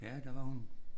Ja der var hun